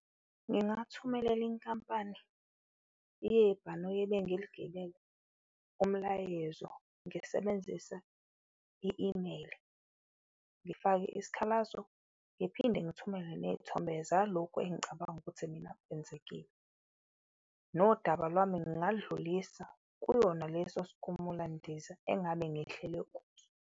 Ngingathumelela inkampani yebhanoyi ebengiligibele umlayezo, ngisebenzisa i-email, ngifake isikhalazo ngiphinde ngithumele neyithombe zalokhu engicabanga ukuthi mina kwenzekile. Nodaba lwami ngingaludlulisa kuyona leso sikhumulandiza engabe ngehlele kuso.